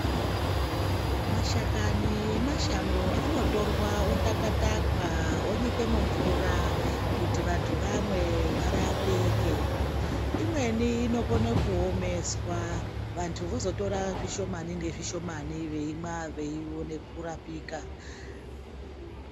Mashakani emashango anotorwa otakwa takwa onyikwe mumvura kuti vantu vamwe varapike imweni inokone kuomeswa vantu vozotora zvishomani nezvishomani veirapika.